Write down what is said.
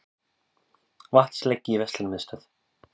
Vatnsleki í verslunarmiðstöð